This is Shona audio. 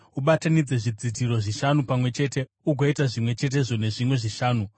Ubatanidze zvidzitiro zvishanu pamwe chete, ugoita zvimwe chetezvo nezvimwe zvishanu.